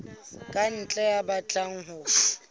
ka ntle ya batlang ho